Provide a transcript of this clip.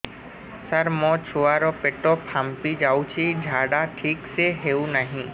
ସାର ମୋ ଛୁଆ ର ପେଟ ଫାମ୍ପି ଯାଉଛି ଝାଡା ଠିକ ସେ ହେଉନାହିଁ